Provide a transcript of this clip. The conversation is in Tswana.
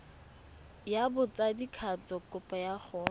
ya botsadikatsho kopo ya go